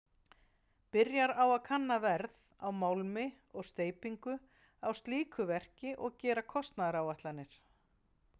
Byrjar á að kanna verð á málmi og steypingu á slíku verki og gera kostnaðaráætlanir.